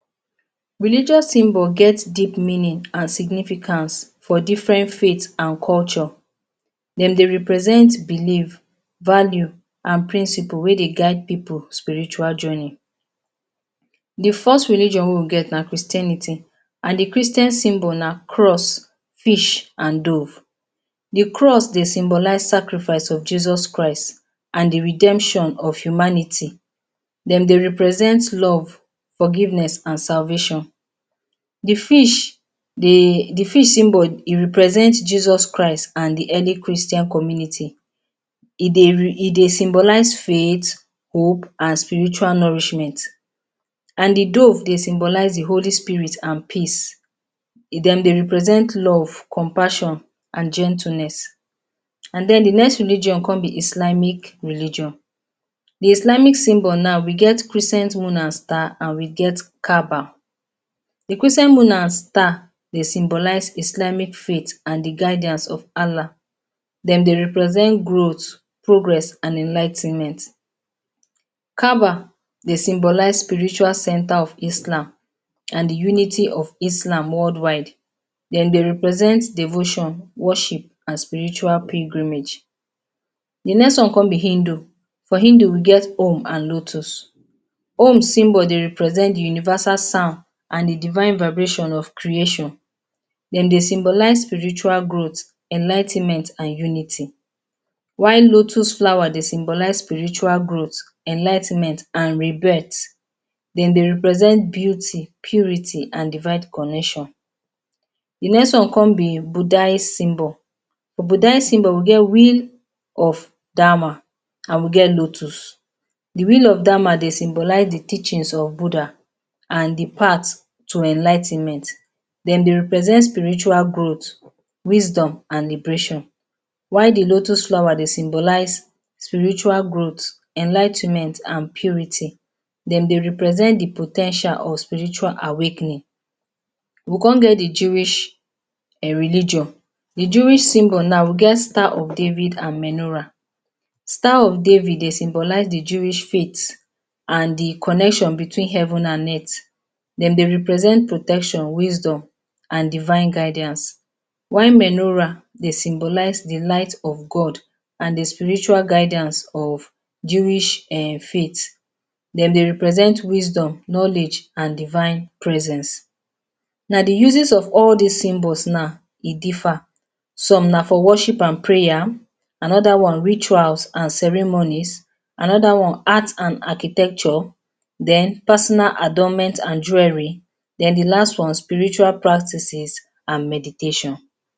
Religious Symbols and Their Meanings Religious symbols get different meanings and significance for different faith and culture. Dem dey represent beliefs, value and principles wey dey guide people for spiritual journey. The first religion wey we get na Christianity. And the Christian symbol na cross, fish and dove. The cross symbol symbolize sacrifice of Jesus Christ and the redemption of humanity. Dem dey represent love, forgiveness and salvation. The fish symbol dey represent Jesus Christ and the early Christian community. E dey symbolize faith, hope and spiritual nourishment. And the dove dey symbolize the Holy Spirit and peace. Dem dey represent love and compassion and gentleness. Then the next religion con be Islamic religion. The Islamic symbol now we get crescent moon and star and we get Kaabah. The crescent moon and star symbolize Islamic faith and the guidance of Allah. Dem dey represent growth, progress and enligh ten ment. Kaabah dey symbolize the spiritual center of Islam and the unity of Islam worldwide. Dem dey represent devotion, worship and spiritual pilgrimage. The next one con be Hindu. For Hindu we get Om and lotus. Om symbol dey represent the universal sound and the divine vibration of creation. Dem dey symbolize spiritual growth, enligh ten ment and unity. While lotus flower dey symbolize spiritual growth, enligh ten ment and rebirth. Dem dey represent beauty, purity and divine connection. The next one con be Buddha's symbol. Buddha symbol we get wheel of Dharma and we get lotus. The wheel of Dharma dey symbolize the teachings of Buddha and the path to enligh ten ment. Dem dey represent spiritual growth, wisdom and liberation. While the lotus flower dey symbolize spiritual growth, enligh ten ment and purity. Dem dey represent the po ten tial of spiritual awakening. We con get the Jewish religion. The Jewish symbol now we get the Star of David and Menorah. Star of David dey symbolize the Jewish faith and the connection between heaven and earth. Dem dey represent protection, wisdom and divine guidance. While Menorah dey symbolize the light of God and the spiritual guidance of Jewish faith. Dem dey represent wisdom, knowledge and divine presence. Na the uses of all these symbols now e differ: Some na for worship and prayers, another one ritual and ceremonies, another one art and architecture, then personal adornments and jewelry, then the last one spiritual practices and meditation.